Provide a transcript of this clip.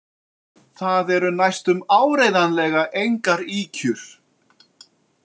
Það eru næstum áreiðanlega engar ýkjur.